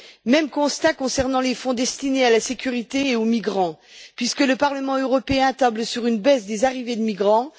Même constat concernant les fonds destinés à la sécurité et aux migrants, puisque le Parlement européen table sur une baisse des arrivées de migrants.